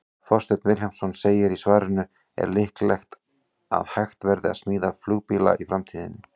Þorsteinn Vilhjálmsson segir í svarinu Er líklegt að hægt verði að smíða flugbíla í framtíðinni?